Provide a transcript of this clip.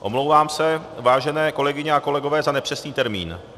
Omlouvám se, vážené kolegyně a kolegové, za nepřesný termín.